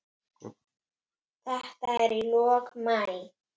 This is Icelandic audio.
Þetta er í lok maí.